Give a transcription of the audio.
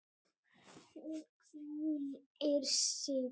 Hún hvílir sig.